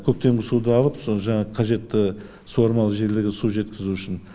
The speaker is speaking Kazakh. көктемгі суды алып соны жаңағы қажетті суармалы жерлерге су жеткізу үшін